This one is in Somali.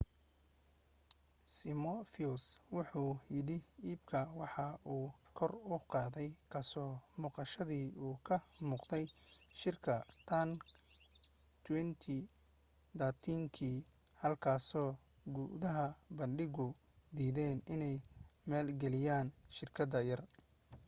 simioff wuxu yidhi iibka waxa kor u qaaday ka soo muuqashadiisii uu ka muuqday shark tank 2013kii halkaasoo guddida bandhigu diideen inay maalgeliyaan shirkadda yar